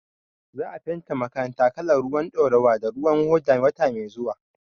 Za a fenta makaranta kalar ruwan ɗaurawa da ruwan hoda wata mai zuwa.